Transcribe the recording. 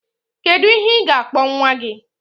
Kedu ihe ga-akpọ nwa gị?